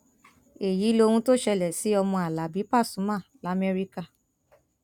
èyí lohun tó ṣẹlẹ sí ọmọ alábi pasuma lamẹríkà